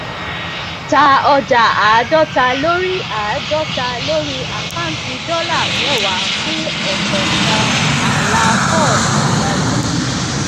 ta ọjà àádóta lórí àádóta lórí àkáǹtì dọlà mẹwàá fún ọkọọkan um ààlà fob òǹrajà um